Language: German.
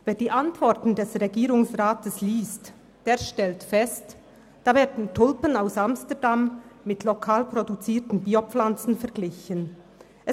Wer die Antworten des Regierungsrats liest, stellt fest, dass Tulpen aus Amsterdam mit lokal produzierten Bio-Pflanzen verglichen werden.